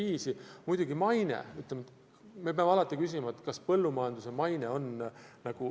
Ja muidugi maine: me peame alati küsima, kas põllumajanduse maine on hea.